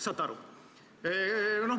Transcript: Saate aru?